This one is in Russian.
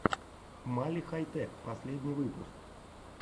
мали хай тэк последний выпуск